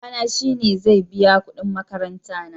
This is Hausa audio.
Babana shi ne zai biya kudin makaranta na